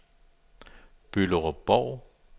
Bylderup-Bov